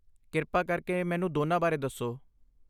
ਕਿਰਪਾ ਕਰਕੇ ਮੈਨੂੰ ਦੋਨਾਂ ਬਾਰੇ ਦੱਸੋ।